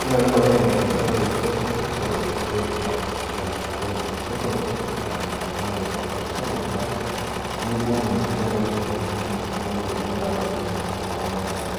Kelelek oleng' enkinasata orkeseri amu ore orkeseri naa endaa sidai naa staple food naibung'a lo olosho lormaasae nibung inkera osukuluni kumok amu kayiolo ajo ore apa isukulini kumok ormaasae